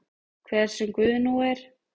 Hver sem Guð nú er.